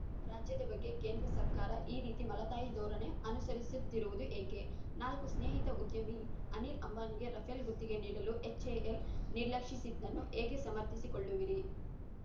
ರಾಜ್ಯದ ಬಗ್ಗೆ ಕೇಂದ್ರ ಸರ್ಕಾರ ಈ ರೀತಿ ಮಲತಾಯಿ ಧೊರಣೆ ಅನುಸರಿಸುತ್ತಿರುವುದು ಏಕೆ ನಾಲ್ಕು ಸ್ನೇಹಿತ ಉದ್ಯಮಿ ಅನಿಲ್‌ ಅಂಬಾನಿಗೆ ರಫೇಲ್‌ ಗುತ್ತಿಗೆ ನೀಡಲು ಎಚ್‌ಎಎಲ್‌ ನಿರ್ಲಕ್ಷಿಸಿದ್ದನ್ನು ಹೇಗೆ ಸಮರ್ಥಿಸಿಕೊಳ್ಳುವಿರಿ